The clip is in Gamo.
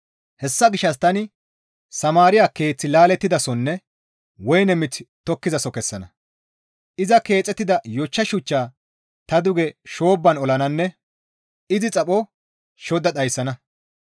Hessa gishshas tani Samaariya keeth laallettidasonne woyne miththi tokettizaso kessana; iza keexettida yochcha shuchcha ta duge shoobban olananne izi xapho shodda dhayssana.